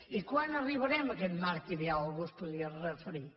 i quan arribarem a aquest marc ideal algú es podria referir